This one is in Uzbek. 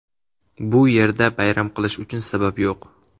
Bu yerda bayram qilish uchun sabab yo‘q.